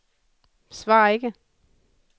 svar ikke